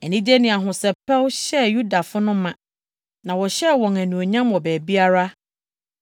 Anigye ne ahosɛpɛw hyɛɛ Yudafo no ma, na wɔhyɛɛ wɔn anuonyam wɔ baabiara.